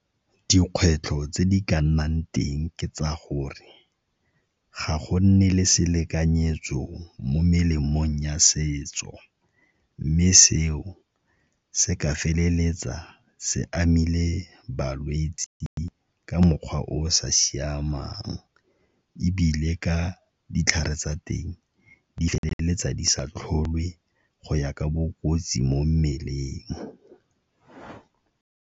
Dikgwetlho tse di ka nnang teng ke tsa gore ga go nne le selekanyetso mo melemong ya setso mme seo se ka feleletsa se amile balwetse ka mokgwa o o sa siamang ebile ka ditlhare tsa teng di feleletsa di sa tlhole go ya ka bokotsi mo mmeleng.